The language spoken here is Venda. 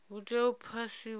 hu tea u phasiswa milayo